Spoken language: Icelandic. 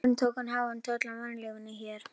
Sjórinn tók háan toll af mannlífinu hér.